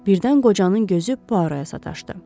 Birdən qocanın gözü Puarraya sataşdı.